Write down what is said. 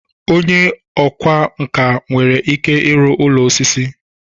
Onye ọkwá nkà nwere ike ịrụ ụlọ osisi.